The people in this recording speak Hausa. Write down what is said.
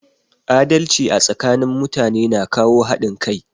Adalci a tsakanin mutane na kawo haɗin kai